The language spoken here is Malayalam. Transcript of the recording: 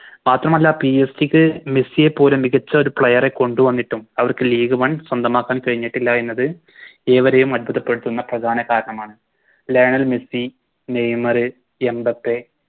മാത്രമല്ല PSG ക്ക് മെസ്സിയെ പോലെ മികച്ച ഒരു Player എ കൊണ്ടുവന്നിട്ടും അവർക്ക് League one സ്വന്തമാക്കാൻ കഴിഞ്ഞിട്ടില്ല എന്നുള്ളത് ഏവരെയും അത്ഭുതപ്പെടുത്തുന്ന പ്രധാന കാരണമാണ് ലെർണൽ മെസ്സി നെയ്‌മറ് എംബപ്പേ